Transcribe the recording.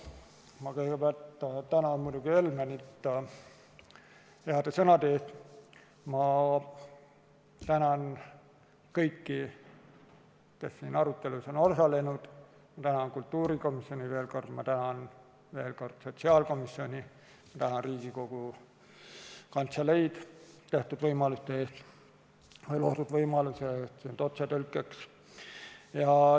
Ma kõigepealt tänan muidugi Helmenit heade sõnade eest, ma tänan kõiki, kes siin arutelus on osalenud, ma tänan veel kord kultuurikomisjoni, ma tänan veel kord sotsiaalkomisjoni, ma tänan Riigikogu Kantseleid otsetõlkeks loodud võimaluse eest!